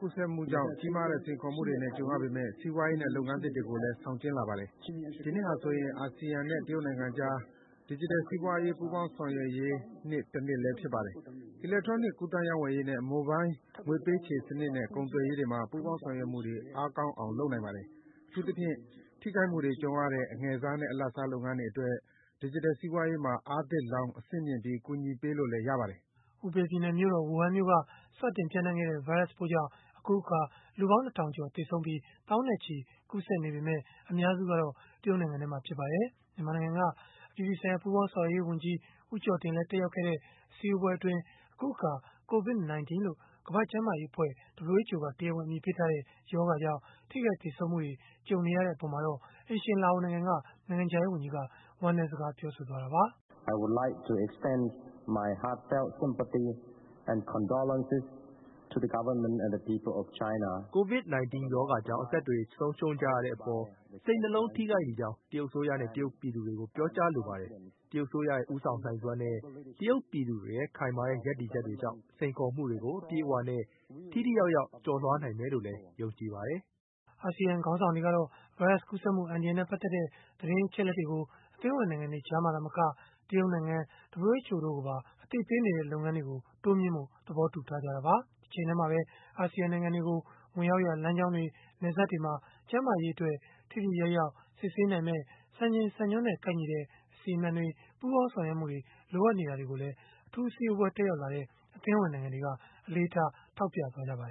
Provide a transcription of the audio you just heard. ကူးစက်မှုကြောင့် ကြီးမားတဲ့ စိန်ခေါ်မှုတွေနဲ့ ကြုံရပေမဲ့ စီးပွားရေးနဲ့ လုပ်ငန်းအသစ်တွေကိုလည်း ဆောင်ကျဉ်းလာပါတယ်။ ဒီနှစ်ဟာဆိုရင် Asean နဲ့ တရုတ်နိုင်ငံကြား ဒီဂျစ်တယ် စီးပွားရေး ပူပေါင်းဆောင်ရွက်ရေးနှစ်တနှစ်လည်း ဖြစ်ပါတယ်။ အီလက်ထရောနစ် ကူးသန်းရောင်းဝယ်ရေးနဲ့ မိုဘိုင်းငွေပေးချေစနစ်နဲ့ ကုန်သွယ်ရေးမှာ ပူးပေါင်းဆောင်ရွက်မှုတွေ အားကောင်းအောင် လုပ်နိုင်ပါတယ်။ အထူးသဖြင့် ထိခိုက်မှုတွေ ကြုံရတဲ့ အငယ်စားနဲ့ အလယ်အလတ် လုပ်ငန်းတွေအတွက် ဒီဂျစ်တယ်စီးပွားရေးမှာ အားသစ်လောင်း၊ အဆင့်မြှင့်ပြီး ကူညီပေးလို့လည်း ရပါတယ်။” ဟူဘေပြည်နယ် ဝူဟန်မြို့က စတင်ပျံ့နှံ့ခဲ့တဲ့ ဗိုင်းရပ်စ်ပိုးကြောင့် အခုအခါ လူပေါင်း ၂ ထောင်ကျော် သေဆုံးပြီး သောင်းနဲ့ချီ ကူးစက်နေပေမဲ့ အများစုကတော့ တရုတ်နိုင်ငံထဲမှာ ဖြစ်ပါတယ်။ မြန်မာနိုင်ငံက အပြည်ပြည်ဆိုင်ရာ ပူးပေါင်းဆောင်ရွက်ရေးဝန်ကြီး ဦးကျော်တင် တက်ရောက်ခဲ့တဲ့ အစည်းအဝေးပွဲအတွင်း အခုအခါ COVID-19 လို့ ကမ္ဘာ့ကျန်းမာရေးအဖွဲ့ (WHO) က တရားဝင် အမည်ပေးထားတဲ့ ရောဂါကြောင့် ထိခိုက်သေဆုံးမှုတွေ ကြုံနေရတဲ့ အပေါ်မှာ အိမ်ရှင်လာအိုနိုင်ငံက နိုင်ငံခြားရေးဝန်ကြီးက ဝမ်းနည်းစကား ပြောဆိုခဲ့တာပါ။ “COVID-19 ရောဂါကြောင့် အသက်တွေ ဆုံးရှုံးကြရတဲ့အပေါ် စိတ်နှလုံးထိခိုက်မိကြောင်း တရုတ်အစိုးရနဲ့ တရုတ်ပြည်သူတွေကို ပြောကြားလိုပါတယ်။ တရုတ်အစိုးရရဲ့ ဦးဆောင်နိုင်စွမ်းနဲ့ တရုတ်ပြည်သူတွေရဲ့ ခိုင်မာတဲ့ ရပ်တည်ချက်တွေကြောင့် စိန်ခေါ်မှုတွေကို အပြည့်အဝနဲ့ ထိထိရောက်ရောက် ကျော်လွှားနိုင်မယ်လို့လည်း ယုံကြည်ပါတယ်။” Asean ခေါင်းဆောင်တွေကတော့ ဗိုင်းရပ်စ်ကူးစက်မှု အန္တရာယ်နဲ့ ပတ်သက်တဲ့ သတင်းအချက်အလက်တွေကို အသင်းဝင်နိုင်ငံတွေ ကြားမှာသာမက တရုတ်နိုင်ငံ၊ WHO တို့ကိုပါ အသိပေးသွားတဲ့ လုပ်ငန်းတွေကို တိုးမြှင့်ဖို့ သဘောတူထားကြတာပါ။ တချိန်တည်းမှာပဲ Asean နိုင်ငံတွေကို ဝင်ရောက်ရာ လမ်းကြောင်းတွေ နယ်စပ်တွေမှာ ကျန်းမာရေးအတွက် ထိထိရောက်ရောက် စစ်ဆေးနိုင်မယ့် စံချိန်စံညွှန်းနဲ့ ကိုက်ညီတဲ့ အစီအမံတွေ ပူးပေါင်းဆောင်ရွက်မှုတွေ လိုအပ်နေတာကိုလည်း အထူးအစည်းအဝေး တက်ရောက်လာတဲ့ အသင်းဝင် နိုင်ငံတွေက အလေးထား ထောက်ပြသွားခဲ့ကြပါတယ်